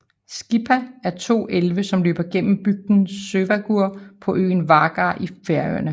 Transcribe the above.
Skipá er to elve som løber gennem bygden Sørvágur på øenn Vágar i Færøerne